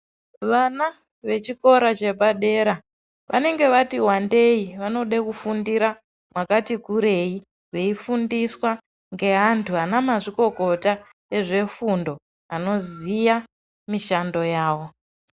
Vana vechikora chepadera vanenga vati wandei vanoda kufundira pakati kurei veifunsiswa ngevantu vana mazvikokota ezvefundo anoziya mishando yavo.